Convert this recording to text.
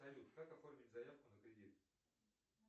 салют как оформить заявку на кредит